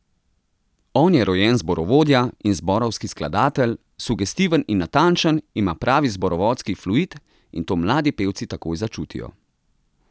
On je rojen zborovodja in zborovski skladatelj, sugestiven in natančen, ima pravi zborovodski fluid in to mladi pevci takoj začutijo.